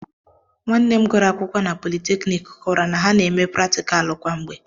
Nwanne m gụrụ akwụkwọ na politeknik kọwara na ha na-eme pratịkalụ kwa mgbe